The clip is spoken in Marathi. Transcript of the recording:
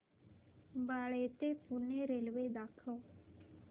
बाळे ते पुणे रेल्वे दाखव